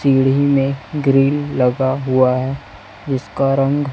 सीढ़ी में ग्रिल लगा हुआ है जीसका रंग--